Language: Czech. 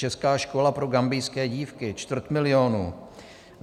Česká škola pro gambijské dívky - čtvrt milionu.